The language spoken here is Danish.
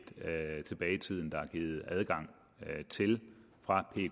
tilbage i tiden er givet adgang til fra